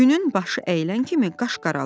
Günün başı əyilən kimi qaş qaralır.